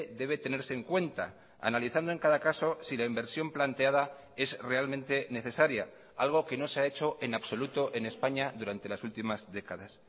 debe tenerse en cuenta analizando en cada caso si la inversión planteada es realmente necesaria algo que no se ha hecho en absoluto en españa durante las últimas décadas